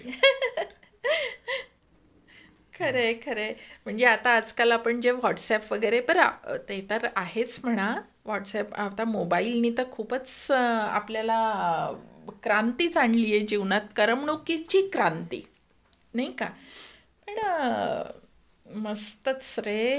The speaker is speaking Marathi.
Laughs खरय खरय म्हणजे आता आजकाल आपण जे व्हाट्सअप वगैरे बर आता मोबाईल ने तर खूपच आपल्याला क्रांतीच आणलीय जीवनात करमणुकीची क्रांती. नाही का पण मस्तच रे.